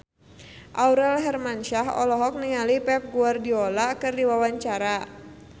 Aurel Hermansyah olohok ningali Pep Guardiola keur diwawancara